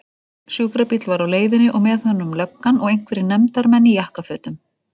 Sjúkrabíll var á leiðinni og með honum löggan og einhverjir nefndar- menn í jakkafötum.